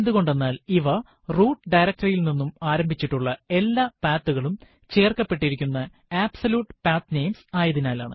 എന്ത്കൊണ്ടെന്നാൽ ഇവ root directory യിൽ നിന്നും ആരംഭിച്ചിട്ടുള്ള എല്ലാ path കളും ചേര്ക്കപ്പെട്ടിരിക്കുന്ന അബ്സല്യൂട്ട് പത്നമേസ് ആയതിനാലാണ്